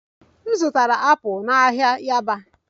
M zụtara apples na yaba ahịa